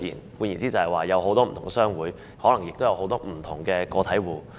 換句話說，也就是有很多不同的商會，可能亦有很多不同的個體戶。